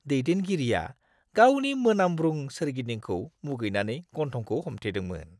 दैदेनगिरिआ गावनि मोनामब्रुं सोरगिदिंखौ मुगैनानै गन्थंखौ हमथेदोंमोन!